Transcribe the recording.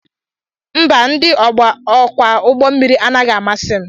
Mba, ndị ọkwọ ụgbọmmiri anaghị amasị m